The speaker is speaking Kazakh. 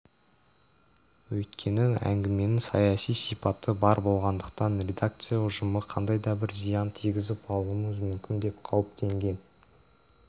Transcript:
өйткені әңгіменің саяси сипаты бар болғандықтан редакция ұжымы қандай да бір зиян тигізіп алуымыз мүмкін деп қауіптенген